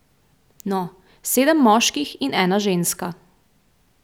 No, sedem moških in ena ženska.